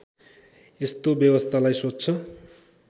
यस्तो व्यवस्थालाई स्वच्छ